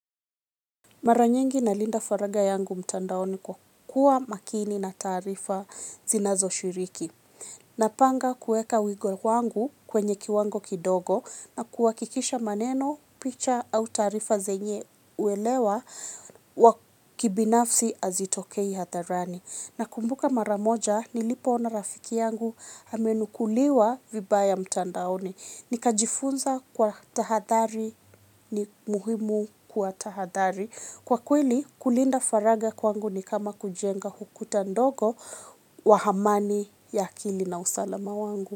Mara nyingi nalinda faragha yangu mtandaoni kwa kuwa makini na taarifa zinazoshiriki. Napanga kuweka wigo wangu kwenye kiwango kidogo nakuhakikisha maneno, picha au taarifa zenye uelewa wa kibinafsi hazitokei hadharani. Nakumbuka mara moja nilipoona rafiki yangu amenukuliwa vibaya mtandaoni. Nikajifunza kwa tahadhari ni muhimu kuwa tahadhari. Kwa kweli kulinda faraga kwangu ni kama kujenga ukuta ndogo wa amani ya akili na usalama wangu.